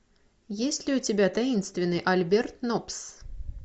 есть ли у тебя таинственный альберт нопс